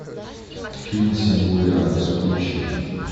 фильм сингулярность включи